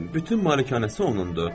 Bütün malikanəsi onundur.